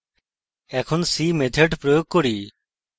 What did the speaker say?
এখন see method প্রয়োগ করি